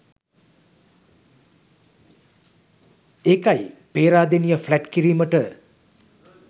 ඒකයි. පේරාදෙනිය ෆ්ලැට් කිරීමට